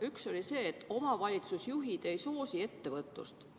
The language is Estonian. Üks oli nending, et omavalitsusjuhid ei soosi ettevõtlust.